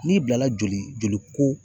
N'i bilala joli, joli ko